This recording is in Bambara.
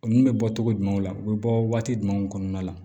Olu bɛ bɔ togo jumɛnw la u be bɔ waati jumɛnw kɔnɔna la